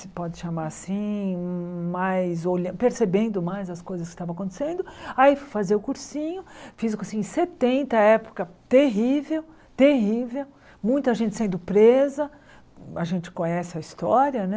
Se pode chamar assim, mais olhan percebendo mais as coisas que estavam acontecendo, aí fui fazer o cursinho, fiz o cursinho em setenta, época terrível, terrível, muita gente sendo presa, a gente conhece a história, né?